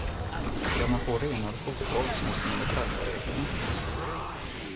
Skall man få renare fotboll så måste man väl skärpa reglerna.